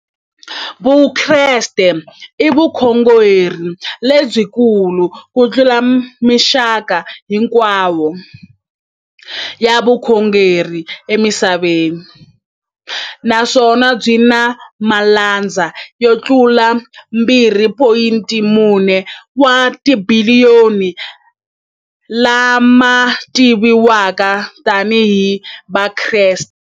Vukreste i vukhongeri lebyi kulu kutlula mixaka hinkwayo ya vukhongeri emisaveni, naswona byi na malandza yo tlula 2.4 wa tibiliyoni, la ma tiviwaka tani hi Vakreste.